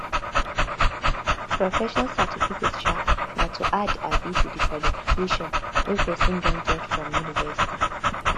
professional certiificate um na to add um to di qujalification wey person don get from university